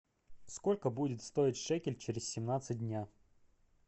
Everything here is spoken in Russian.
сколько будет стоить шекель через семнадцать дней